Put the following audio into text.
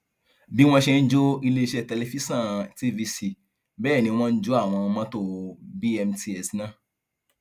bí wọn ṣe ń jó iléeṣẹ tẹlifíṣọn tvc bẹẹ ni wọn jọ àwọn mọtò bmts náà